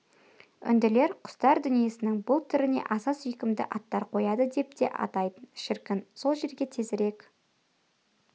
үнділер құстар дүниесінің бұл түріне аса сүйкімді аттар қояды деп те атайтын шіркін сол жерге тезірек